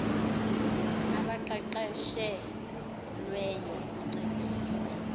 abaqeqeshe lweyo ukuncedisa